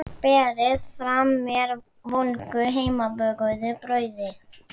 Berið fram með volgu heimabökuðu brauði.